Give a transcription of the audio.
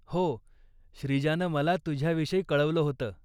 हो, श्रीजानं मला तुझ्याविषयी कळवलं होतं.